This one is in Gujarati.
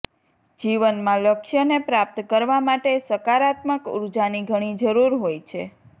જીવનમાં લક્ષ્યને પ્રાપ્ત કરવા માટે સકારાત્મક ઉર્જાની ઘણી જરૂર હોય છે